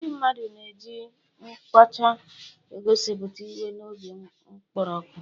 Ndị mmadụ na-eji nkọcha egosipụta iwe na obi nkoropụ.